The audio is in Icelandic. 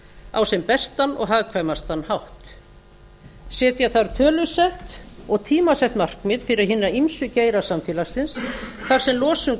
á sem bestan og hagkvæmastan hátt setja þarf tölusett og tímasett markmið fyrir hina ýmsu geira samfélagsins þar sem losun